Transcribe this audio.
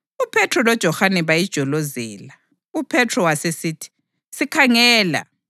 UPhethro loJohane bayijolozela. UPhethro wasesithi, “Sikhangela!”